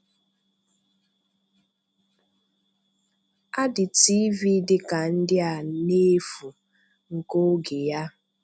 um Adị TV dị ka ndị a n’efu nke ògé ya.